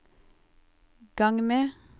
gang med